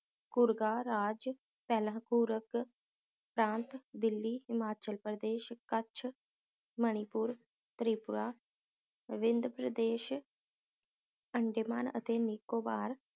ਘੁਰਕਾ ਰਾਜ ਪਹਿਲਾਂ ਘੂਰਕ ਪ੍ਰਾਂਤ ਦਿੱਲੀ, ਹਿਮਾਚਲ ਪ੍ਰਦੇਸ਼, ਕੱਛ, ਮਨੀਪੁਰ, ਤ੍ਰਿਪੁਰਾ, ਵਿੰਦ ਪ੍ਰਦੇਸ਼ ਅੰਦਮਾਨ ਅਤੇ ਨਿਕੋਬਾਰ